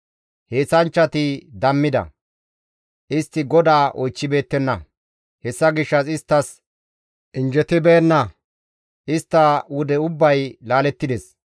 Heenththanchchati dammida; istti GODAA oychchibeettenna. Hessa gishshas isttas injjetibeenna; istta wude ubbay laalettides.